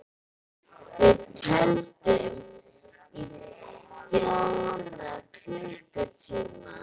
Við tefldum í fjóra klukkutíma!